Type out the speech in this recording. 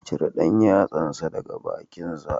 Cire ɗan yatsansa daga bakinsa